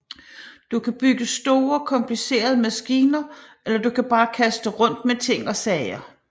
Du kan bygge store komplicerede maskiner eller du kan bare kaste rundt med ting og sager